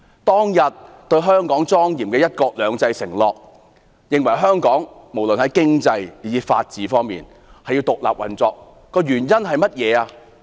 當日對香港莊嚴的"一國兩制"承諾，要香港無論在經濟以至法治方面均獨立運作，原因是甚麼？